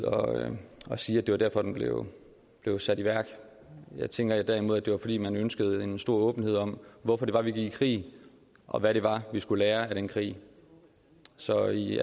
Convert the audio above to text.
at sige at det var derfor den blev sat i værk jeg tænker derimod at det var fordi man ønskede en stor åbenhed om hvorfor det var vi gik i krig og hvad det var vi skulle lære af den krig så i